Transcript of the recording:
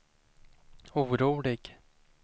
orolig